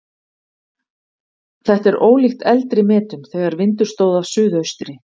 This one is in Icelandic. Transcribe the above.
Þetta er ólíkt eldri metum þegar vindur stóð af suðaustri.